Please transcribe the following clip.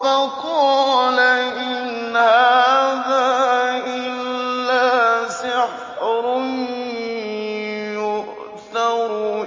فَقَالَ إِنْ هَٰذَا إِلَّا سِحْرٌ يُؤْثَرُ